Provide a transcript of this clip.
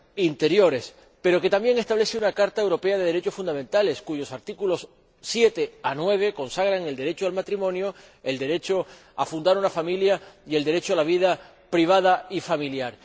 interiores, pero que también establece una Carta de los Derechos Fundamentales de la Unión Europea, cuyos artículos 7 a 9 consagran el derecho al matrimonio, el derecho a fundar una familia y el derecho a la vida privada y familiar.